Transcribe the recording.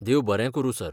देव बरें करूं सर.